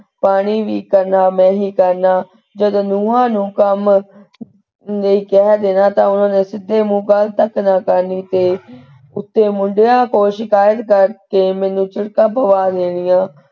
ਪਾਣੀ ਵੀ ਕਰਨਾ ਮੈਂ ਹੀ ਕਰਨਾ ਜਦੋਂ ਨੂੰਹਾਂ ਨੂੰ ਕੰਮ ਨਹੀਂ ਕਹਿ ਦੇਣਾ ਤਾਂ ਉਹਨਾਂ ਨੇ ਸਿੱਧੇ ਮੂੰਹ ਗਲ ਤੱਕ ਨਾ ਕਰਨੀ ਤੇ ਉੱਤੇ ਮੁੰਡਿਆਂ ਕੋਲ ਸ਼ਿਕਾਯਤ ਕਰ ਕੇ ਮੈਨੂੰ ਚਿੜ੍ਹਕਾਂ ਪਵਾ ਦੇਣੀਆਂ,